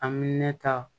An bɛ ne ta